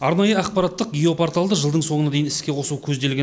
арнайы ақпараттық геопорталды жылдың соңына дейін іске қосу көзделген